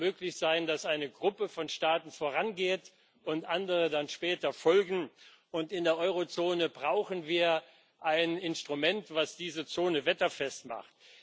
Es muss möglich sein, dass eine Gruppe von Staaten vorangeht und andere dann später folgen. Und in der Eurozone brauchen wir ein Instrument, das diese Zone wetterfest macht.